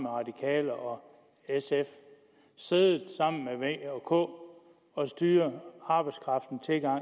radikale og sf siddet sammen med v og k og styret arbejdskraftens tilgang